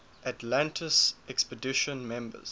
atlantis expedition members